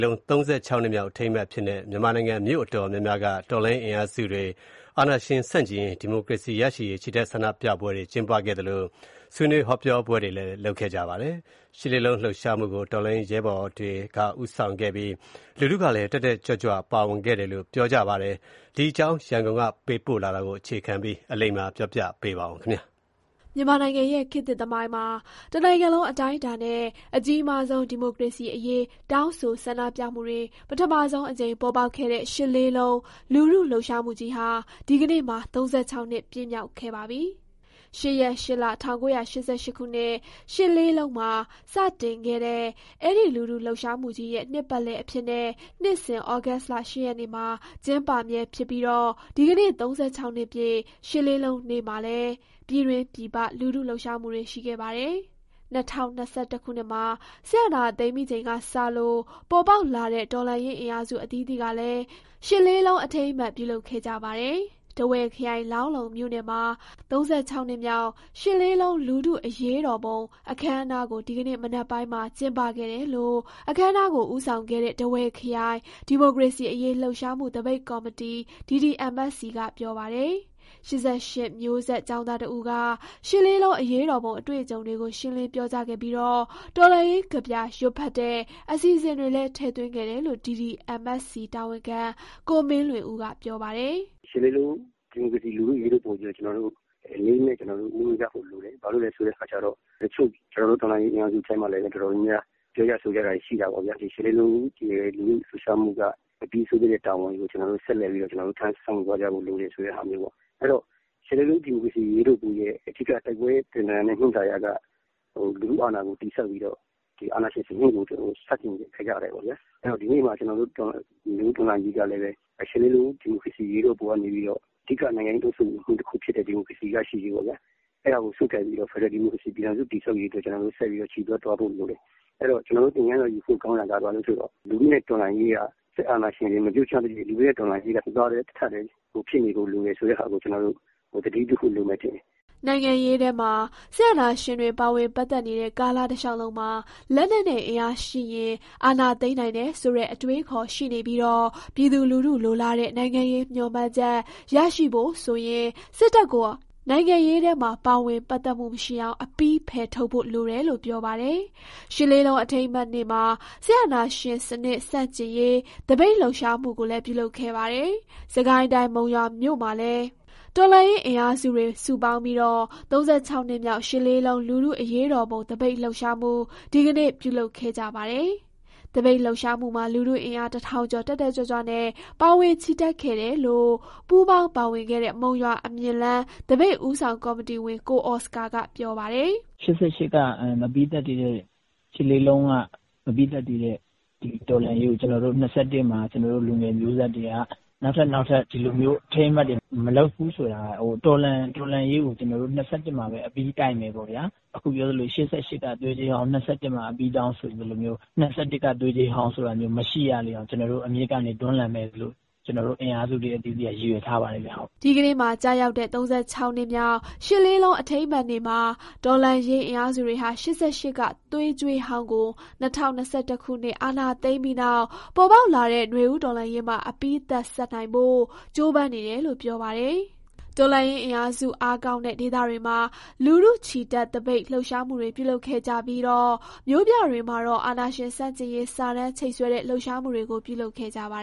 လုံး ၃၆ နှစ်မြောက်အထိမ်းအမှတ်အဖြစ်နဲ့ မြန်မာနိုင်ငံ မြို့နယ်အတော်များများက တော်လှန်ရေးအင်အားစုတွေ အာဏာရှင်ဆန့်ကျင်ရေး၊ ဒီမိုကရေစီရရှိရေး ချီတက် ဆန္ဒပြပွဲ ကျင်းပခဲ့ကြသလို၊ ဆွေးနွေး ဟောပြောပွဲတွေလည်း ကျင်းပခဲ့ကြပါတယ်။ ရှစ်လေးလုံး လှုပ်ရှားမှုကို တော်လှန်ရေးရဲဘော်တွေက ဦးဆောင်ခဲ့ကြပြီး၊ လူထုကလည်း တက်တက်ကြွကြွ ပါဝင်ခဲ့ကြတယ်လို့ ပြောပါတယ်။ ဒီအကြောင်း ရန်ကုန်ကပေးပို့တဲ့ သတင်းကို အခြေခံပြီး အလိမ္မာက တင်ပြပေးထားပါတယ်။ မြန်မာနိုင်ငံရဲ့ ခေတ်သစ်သမိုင်းမှာ တနိုင်ငံလုံးအတိုင်းအတာနဲ့ အကြီးမားဆုံး ဒီမိုကရေစီအရေး တောင်းဆိုဆန္ဒပြမှုတွေ ပထမဆုံးအကြိမ် ပေါ်ပေါက်ခဲ့တဲ့ ရှစ်လေးလုံး လူထုလှုပ်ရှားမှုကြီးဟာ ဒီကနေ့မှာ ၃၆ နှစ် ပြည့်မြောက်ခဲ့ပါပြီ။ ၈ ရက်၊ ၈ လ၊ ၁၉၈၈ ခုနှစ် မှာ စတင်ခဲ့တဲ့ အဲဒီ လူထုလှုပ်ရှားမှုကြီးရဲ့ နှစ်ပတ်လည်အဖြစ်နဲ့ နှစ်စဉ် ဩဂုတ်လ ၈ ရက်နေ့မှာ ကျင်းပမြဲဖြစ်ပြီးတော့ ဒီကနေ့ ၃၆ နှစ်ပြည့် ရှစ်လေးလုံးနေ့မှာလည်း ပြည်တွင်း၊ ပြည်ပ လူထုလှုပ်ရှားမှုတွေ ရှိခဲ့ပါတယ်။ ၂၀၂၁ ခုနှစ်မှာ စစ်အာဏာသိမ်းပြီးချိန်ကစလို့ ပေါ်ပေါက်လာတဲ့ တော်လှန်ရေးအင်အားစု အသီးသီးကလည်း ရှစ်လေးလုံး အထိမ်းအမှတ် ပြုလုပ်ခဲ့ကြပါတယ်။ ထားဝယ်ခရိုင်၊ လောင်းလုံးမြို့နယ်မှာ ၃၆ နှစ်မြောက် ရှစ်လေးလုံး လူထုအရေးတော်ပုံ အခမ်းအနားကို ဒီကနေ့ မနက်ပိုင်းမှာ ကျင်းပခဲ့တယ်လို့ အခမ်းအနားကို ဦးဆောင်ခဲ့တဲ့ ထားဝယ်ခရိုင် ဒီမိုကရေစီအရေး လှုပ်ရှားမှုသပိတ်ကော်မတီ DDMSC က ပြောပါတယ်။ ၈၈ မျိုးဆက် ကျောင်းသားတဦးက ရှစ်လေးလုံးအရေးတော်ပုံ အတွေ့အကြုံတွေကို ရှင်းလင်းပြောကြားခဲ့ပြီး၊ တော်လှန်ရေးကဗျာ ရွတ်ဖတ်တဲ့ အစီအစဉ်တွေလည်း ထည့်သွင်းခဲ့တယ်လို့ DDMSC တာဝန်ခံ ကိုမင်းလွင်ဦးက ပြောပါတယ်။ "ရှစ်လေးလုံး ဒီမိုကရေစီ လူထုအရေးတော်ပုံကြီးကို လေးလေးနက်နက် ဦးညွှတ်ကြဖို့လိုတယ်။ ဘာလို့လဲဆိုတော့ ကျနော်တို့ တော်လှန်ရေး အင်အားစုထဲမှာလည်း တော်တော်များများ ပြောကြဆိုကြတာတွေ ရှိတာပေါ့ဗျာ။ ၈လေးလုံး လူထုလှုပ်ရှားမှုက မပြီးဆုံးသေးတဲ့တာဝန်ကြီးကို ကျနော်တို့ ဆက်ပြီးထမ်းရွက်သွားဖို့ လိုတယ်ဆိုတာမျိုးပေါ့။ အဲတော့ ၈လေးလုံး ဒီမိုကရေစီ အရေးတော်ပုံရဲ့ အဓိကအနှစ်သာရက လူထုအာဏာကို တည်ဆောက်ပြီးတော့ အာဏာရှင်စနစ်ကို ဆန့်ကျင်ခဲ့ကြတယ်ပေါ့ဗျာ။ အဲတော့ ဒီနေ့မှာ ကျနော်တို့ နွေဦးတော်လှန်ရေးကလည်း ရှစ်လေးလုံး ဒီမိုကရေစီ အရေးတော်ပုံကနေပြီးတော့ ဒီမိုကရေစီရရှိရေးကို ဆုပ်ကိုင်ပြီးတော့ ဖက်ဒရယ်ဒီမိုကရေစီ ပြည်ထောင်စုတည်ဆောက်ရေးအတွက် ဆက်ပြီး ချီတက်သွားဖို့လိုတယ်။ အဲတော့ ကျနော်တို့သင်ခန်းစာ ယူဖို့ကောင်းတာက ဘာလဲဆိုတော့ စစ်အာဏာရှင် မပြုတ်ကျသရွေ့ လူထုနဲ့တော်လှန်ရေးက တသားတည်းဖြစ်နေဖို့ လိုတယ်ဆိုတာကို သတိပြုဖို့ လိုမယ်ထင်တယ်။" နိုင်ငံရေးထဲမှာ စစ်အာဏာရှင်တွေ ပါဝင်ပတ်သက်နေတဲ့ ကာလတလျှောက်လုံးမှာ လက်နက်နဲ့အင်အားရှိရင် အာဏာသိမ်းနိုင်တယ်ဆိုတဲ့ အတွေးအခေါ်ရှိနေပြီး၊ ပြည်သူလူထုလိုလားတဲ့ နိုင်ငံရေးမျှော်မှန်းချက် ရရှိဖို့ဆိုရင် စစ်တပ်ကို နိုင်ငံရေးထဲမှာ ပါဝင် ပတ်သက်မှုမရှိအောင် အပြီးဖယ်ထုတ်ဖို့ လိုတယ်လို့ ပြောပါတယ်။ ရှစ်လေးလုံး အထိမ်းအမှတ်နေ့မှာ စစ်အာဏာရှင်စနစ် ဆန့်ကျင်ရေး သပိတ်လှုပ်ရှားမှုကိုလည်း ပြုလုပ်ခဲ့ပါတယ်။ စစ်ကိုင်းတိုင်း၊ မုံရွာမှာလည်း တော်လှန်ရေးအင်အားစုတွေ စုပေါင်းပြီး ၃၆ နှစ်မြောက် ရှစ်လေးလုံး လူထုအရေးတော်ပုံ သပိတ်လှုပ်ရှားမှု ဒီကနေ့ ပြုလုပ်ခဲ့ကြပါတယ်။ သပိတ်လှုပ်ရှားမှုမှာ လူထုအင်အား တထောင်ကျော် တက်တက်ကြွကြွနဲ့ ပါဝင်ချီတက်ခဲ့တယ်လို့ ပူးပေါင်းပါဝင်ခဲ့တဲ့ မုံရွာ အမြင့်လမ်း သပိတ်ဦးဆောင်ကော်မတီဝင် ကိုအော်စကာက ပြောပါတယ်။ "ရှစ်လေးလုံးက မပြီးသတ်သေးတဲ့ ဒီတော်လှန်ရေးကို ၂၁ မှာ ကျနော်တို့ လူငယ်မျိုးဆက်တွေက နောက်ထပ်နောက်ထပ် ဒီလိုမျိုး အထိမ်းအမှတ်တွေ မလုပ်ဘူးဆိုတာ၊ တော်လှန်ရေးကို ကျနော်တို့ ၂၁ မှာပဲ အပြီးတိုက်မယ်ပေါ့ဗျာ။ အခုပြောသလို ၈၈ က သွေးကြွေးဟောင်း ၂၁ မှာ အပြီးတောင်း ဆိုသလိုမျိုး၊ ၂၁ က သွေးကြွေးဟောင်းဆိုတာမျိုး မရှိရလေအောင် အမြစ်ကနေ တွန်းလှန်မယ်လို့ ကျနော်တို့ အင်အားစု အသီးသီးက ရည်ရွယ်ထားပါတယ်ဗျ။" ဒီကနေ့မှာ ကျရောက်တဲ့ ၃၆နှစ်မြောက် ၈၈၈၈ အထိမ်းအမှတ်နေ့မှာ တော်လှန်ရေးအင်အားစုတွေဟာ ၈၈ က သွေးကြွေးဟောင်းကို ၂၀၂၁ ခုနှစ် စစ်အာဏာသိမ်းပြီးနောက် ပေါ်ပေါက်လာတဲ့ နွေဦးတော်လှန်ရေးမှာ အပြီးသတ်ဆပ်နိုင်ဖို့ ကြိုးပမ်းနေတယ်လို့ ပြောပါတယ်။ တော်လှန်ရေးအင်အားစု အားကောင်းတဲ့ ဒေသတွေမှာ လူထုချီတက်သပိတ် လှုပ်ရှားမှုတွေ ပြုလုပ်ခဲ့ကြပြီး၊ မြို့ပြတွေမှာတော့ အာဏာရှင် ဆန့်ကျင်ရေး စာတန်းချိတ်ဆွဲတဲ့ လှုပ်ရှားမှုတွေကို ပြုလုပ်ခဲ့ကြပါ